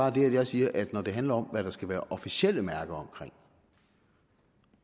at jeg siger at når det handler om hvad der skal være officielle mærker omkring